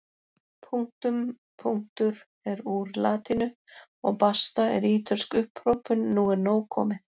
Punktum punktur er úr latínu og basta er ítölsk upphrópun nú er nóg komið!